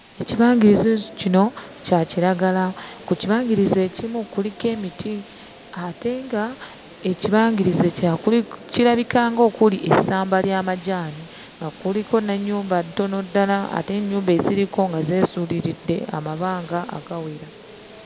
Ekibangirizi kino kya kiragala. Ku kibangirizi ekimu kuliko emiti ate ng'ekibangirizi ekirala kuli kirabika ng'okuli essamba ly'amajaani nga kuliko n'ennyumba ntono ddala ate ennyumba eziriko nga zeesuuliridde amabanga agawera.